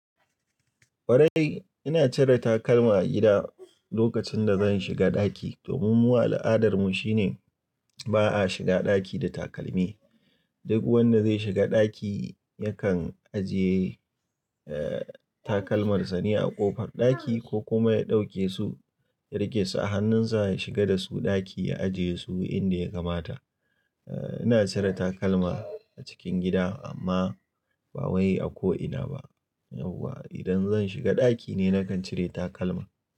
Kwarai, ina cire takalma a gida lokacin da zan shiga ɗaki domin mu al'adarmu shine ba a shiga ɗaki da takalmi. Duk wanda zai shiga ɗaki yakan ajiye, eh, takalmarsa ne a ƙofar ɗaki ko kuma ya ɗauke su, ya rike su a hannunsa ya shiga da su ɗaki ya ajiye su inda ya kamata. Eh, ina cire takalma a cikin gida amma ba wai a ko ina ba. Yauwa idan zan shiga ɗaki ne nakan cire takalma.